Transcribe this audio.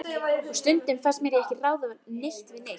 Og stundum fannst mér ég ekki ráða neitt við neitt.